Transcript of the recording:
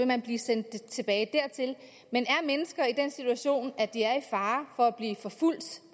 man blive sendt tilbage dertil men er mennesker i den situation at de er i fare for at blive forfulgt